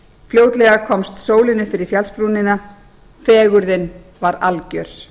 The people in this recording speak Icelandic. fljótlega komst sólin upp fyrir fjallsbrúnina fegurðin var alger